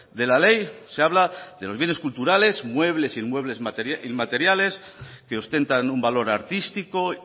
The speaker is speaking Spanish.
de la ley se habla de los bienes culturales muebles e inmuebles inmateriales que ostentan un valor artístico